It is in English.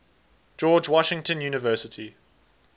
george washington university